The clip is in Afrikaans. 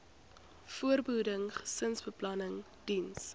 voorbehoeding gesinsbeplanning diens